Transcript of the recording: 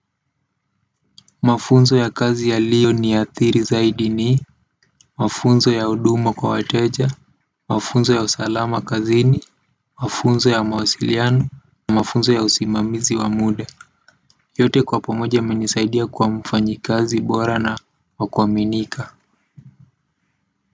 Mafunzo ya kazi yaliyoniathiri zaidi ni mafunzo ya huduma kwa wateja mafunzo ya usalama kazini mafunzo ya mawasiliano, mafunzo ya usimamizi wa muda yote kwa pamoja yamenisaidia kuwa mfanyikazi bora na wakuaminika.